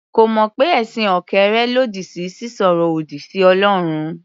Kò mọ̀ pé ẹ̀sìn òkèèrè lòdì sí sísọ̀rọ̀ òdì sí Ọlọ́run.